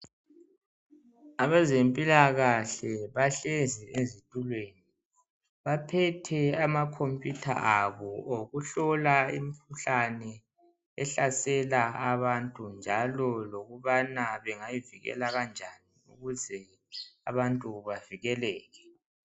Abezempilakahle bahlezi ezitulweni . Baphethe ama computer abo okuhlola imkhuhlane ehlasela abantu njalo lokubana bengayivikela kanjani ukuze abantu bavikeleke .